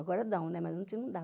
Agora dão, mas não dava.